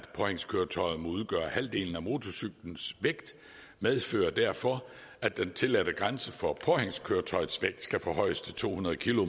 påhængskøretøjet må udgøre halvdelen af motorcyklens vægt medfører derfor at den tilladte grænse for påhængskøretøjets vægt skal forhøjes til to hundrede